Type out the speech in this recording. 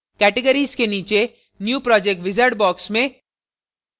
categories के नीचे new project wizard box में